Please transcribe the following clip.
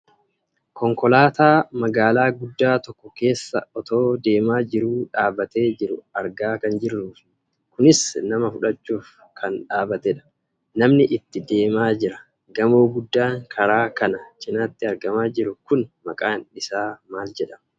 Konkolaataa magaalaa guddaa tokko keessa otoo deemaa jiruu dhaabbatee jiru argaa kan jirruufi kunis nama fudhachuuf kan dhaabbatedha. Namni itti deemaa jira. Gamoo guddaan karaa kana cinaatti argamaa jiru kun maqaan isaa maal jedhama?